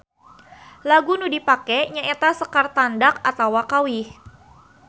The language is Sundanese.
Lagu nu dipake nya eta sekar tandak atawa kawih.